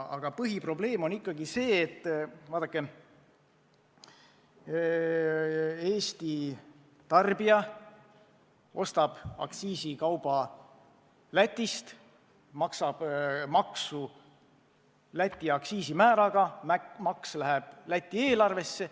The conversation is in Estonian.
Aga põhiprobleem on ikkagi see, et Eesti tarbija ostab aktsiisikauba Lätist, maksab maksu Läti aktsiisimääraga, maks läheb Läti eelarvesse.